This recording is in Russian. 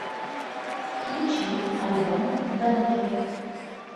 включи альбом бэнгер